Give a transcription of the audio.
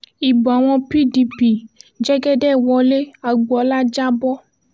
ibo àwọn pdp l jẹ́gẹ́dẹ́ wọlé agbọ́ọ́lá jà bọ́